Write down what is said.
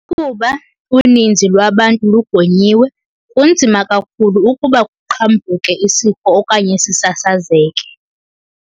Ukuba uninzi lwabantu lugonyiwe, kunzima kakhulu ukuba kuqhambuke isifo okanye sisasazeke.